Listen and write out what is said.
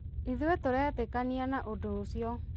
ithuĩ tũtiretĩkania na ũndũ ũcio.